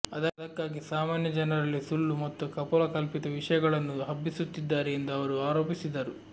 ಅದಕ್ಕಾಗಿ ಸಾಮಾನ್ಯ ಜನರಲ್ಲಿ ಸುಳ್ಳು ಮತ್ತು ಕಪೋಲಕಲ್ಪಿತ ವಿಷಯಗಳನ್ನು ಹಬ್ಬಿಸುತ್ತಿದ್ದಾರೆ ಎಂದು ಅವರು ಆರೋಪಿಸಿದರು